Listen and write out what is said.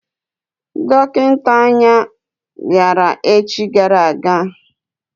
Dọkịta anya bịara echi gara aga.